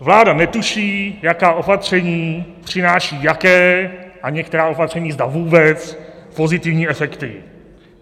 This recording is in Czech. Vláda netuší, jaká opatření přináší jaké - a některá opatření, zda vůbec - pozitivní efekty.